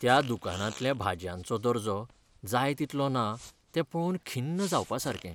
त्या दुकानांतल्या भाजयांचो दर्जो जाय तितलो ना तें पळोवन खिन्न जावपासारकें.